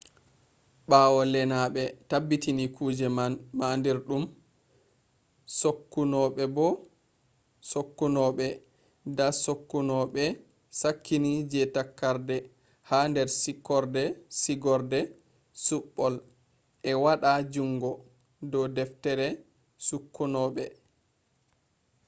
ɓawo lenaɓe tabbiti kuje mandirɗum sokkunoɓe da sakkunoɓe sakkini je takarde ha nder sigorde suɓɓol e waɗa jungo do deftere sokkunobe